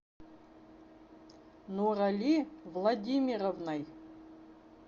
нурали владимировной